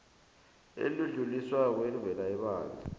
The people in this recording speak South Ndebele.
elidluliswako elivela ebandla